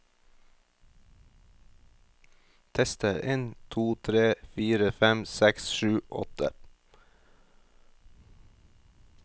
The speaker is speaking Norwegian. Tester en to tre fire fem seks sju åtte